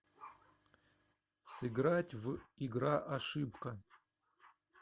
сыграть в игра ошибка